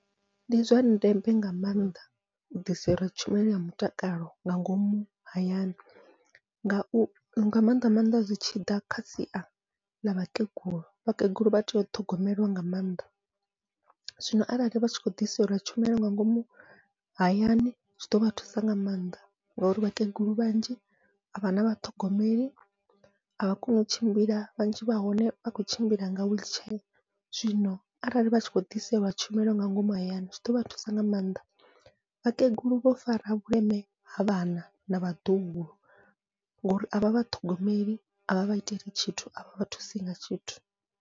Ndi zwa ndeme nga maanḓa u ḓiselwa tshumelo ya mutakalo nga ngomu hayani, ngau nga maanḓa maanḓa zwi tshi ḓa kha sia ḽa vhakegulu vhakegulu vha tea u ṱhogomeliwa nga maanḓa, zwino arali vha tshi khou ḓiselwa tshumelo nga ngomu hayani zwi ḓovha thusa nga maanḓa ngauri vhakegulu vhanzhi avha na vhaṱhogomeli avha koni u tshimbila vhanzhi vha hone vha khou tshimbila nga wheelchair. Zwino arali vha tshi khou ḓiselwa tshumelo nga ngomu hayani zwi ḓovha thusa nga maanḓa, vhakegulu vho fara vhuleme ha vhana na vhaḓuhulu ngori avha vha ṱhogomeli a vha vha iteli tshithu avha vha thusi nga tshithu.